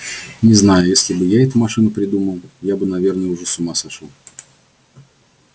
не знаю если бы я эту машину придумал я бы наверное уже с ума сошёл